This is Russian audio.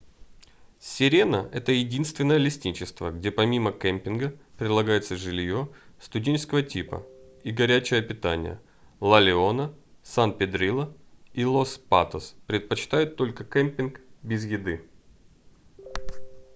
sirena это единственное лесничество где помимо кэмпинга предлагается жилье студенческого типа и горячее питание la leona san pedrillo и los patos предлагают только кэмпинг без еды